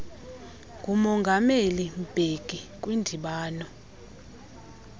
ngumongameli mbeki kwindibano